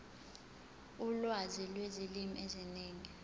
ulwazi lwezilimi eziningi